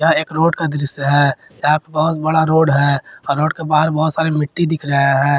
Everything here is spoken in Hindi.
एक रोड का दृश्य है यहां पे बहुत बड़ा रोड है और रोड के बाहर बहुत सारा मिट्टी दिख रहे है।